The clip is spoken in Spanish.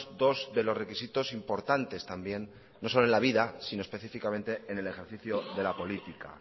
dos de los requisitos importante también no solo en la vida sino específicamente en el ejercicio de la política